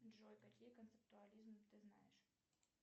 джой какие концептуализмы ты знаешь